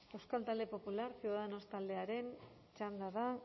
euskal talde popular ciudadanos taldearen txanda da